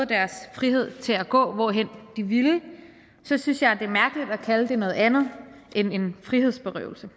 deres frihed til at gå hvorhen de ville så synes jeg at det er mærkeligt at kalde det noget andet end en frihedsberøvelse